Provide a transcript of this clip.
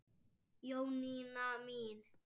Jónína mín.